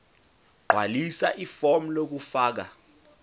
gqwalisa ifomu lokufaka